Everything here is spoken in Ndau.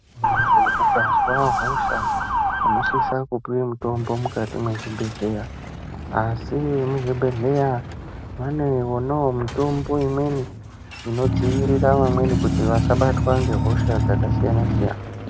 Muntu ukazwa hosha unosisa kupuwa mutombo mukati mwezvibhedhlera, asi vemuzvibhedhlera vane wonawo mutombo imweni inodzivirira vamweni vasabatwa ngehosha dzakasiyana siyana.